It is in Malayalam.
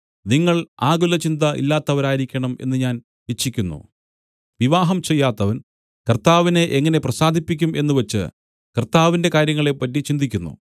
നിങ്ങൾ ആകുലചിന്ത ഇല്ലാത്തവരായിരിക്കണം എന്ന് ഞാൻ ഇച്ഛിക്കുന്നു വിവാഹം ചെയ്യാത്തവൻ കർത്താവിനെ എങ്ങനെ പ്രസാദിപ്പിക്കും എന്നുവച്ച് കർത്താവിന്റെ കാര്യങ്ങളെപ്പറ്റി ചിന്തിക്കുന്നു